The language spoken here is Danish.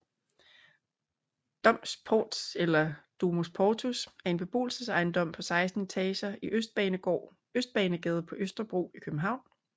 Domvs Portvs eller Domus Portus er en beboelsesejendom på 16 etager i Østbanegade på Østerbro i København